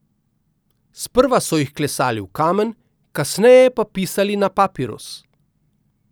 Sprva so jih klesali v kamen, kasneje pa pisali na papirus.